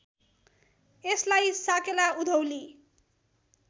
यसलाई साकेला उधौली